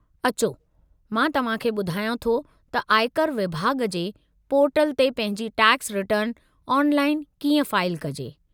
अचो मां तव्हां खे ॿुधायां थो त आयकर विभाॻ जे पोर्टल ते पंहिंजी टैक्स रिटर्न ऑनलाइनु कीअं फाइलु कजे।